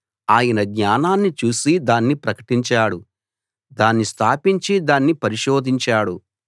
ఆయన జ్ఞానాన్ని చూసి దాన్ని ప్రకటించాడు దాన్ని స్థాపించి దాన్ని పరిశోధించాడు